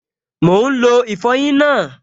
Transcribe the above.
Mò ún lo ìfọyín náà